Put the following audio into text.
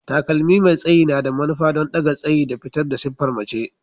Takalmi mai tsayi na da manufa don ɗaga tsayi da fitar da siffar mace.